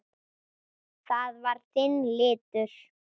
Það var þinn litur.